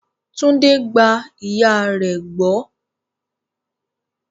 Tunde gba ìyà rẹ̀ gbọ́.